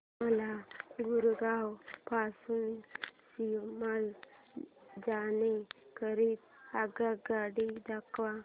मला गुरगाव पासून शिमला जाण्या करीता आगगाड्या दाखवा